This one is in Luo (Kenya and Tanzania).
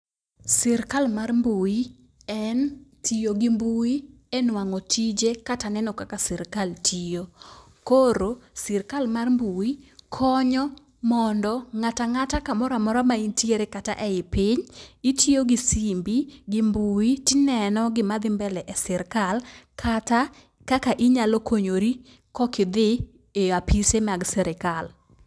Sirkal mar mbui en tiyo gi mbui e nwang'o tije kata neno kaka sirkal tiyo. Koro sirkal mar mbui konyo mondo ng'atang'ata kamoro amora ma intiere kata ei piny, itiyo gi simbi gi mbui tineno gima dhi mbele e sirikal kata kaka inyalo konyori kokidhi e apise mag sirkal.